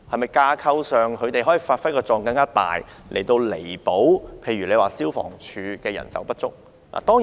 在架構上，他們是否可以發揮更大的作用，以彌補例如消防處的人手不足？